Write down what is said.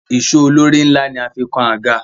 Ìsó olórí ńlá ni a fi kan àga.